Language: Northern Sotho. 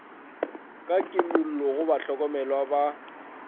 ka kimollo go bahlokomelwa ba